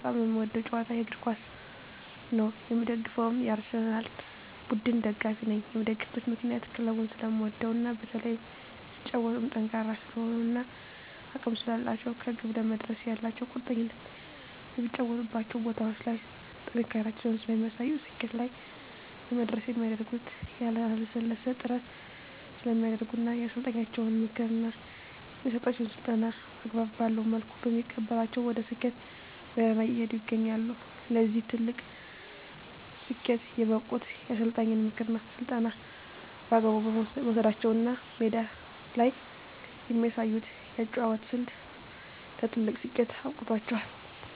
በጣም የምወደዉ ጨዋታ እግርኳስ ነዉ የምደግፈዉም የአርሰላን ቡድን ደጋፊ ነኝ የምደግፍበት ምክንያት ክለቡን ስለምወደዉ እና በተለይም ሲጫወቱም ጠንካራ ስለሆኑ እና አቅም ስላላቸዉ ከግብ ለመድረስ ያላቸዉ ቁርጠኝነት በሚጫወቱባቸዉ ቦታዎች ላይ ጥንካሬያቸውን ስለሚያሳዩ ስኬት ላይ ለመድረስ የሚያደርጉት ያላለሰለሰ ጥረት ስለሚያደርጉ እና የአሰልጣኛቸዉን ምክር እና የሚሰጣቸዉን ስልጠና አግባብ ባለዉ መልኩ በመቀበላቸዉ ወደ ስኬት ጎዳና እየሄዱ ይገኛሉ ለዚህ ትልቅ ስኬት የበቁት የአሰልጣኝን ምክርና ስልጠና በአግባቡ መዉሰዳቸዉ ነዉ እና ሜዳ ላይ የሚያሳዩት የአጨዋወት ስልት ለትልቅ ስኬት አብቅቷቸዋል